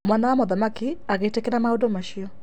Mwana wa mũthamaki agĩtĩkĩra maũndũ macio.